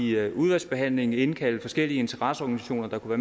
i udvalgsbehandlingen indkalde forskellige interesseorganisationer der kunne